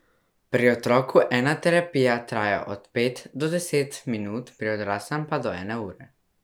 Pri otroku ena terapija traja od pet do deset minut, pri odraslem pa do ene ure.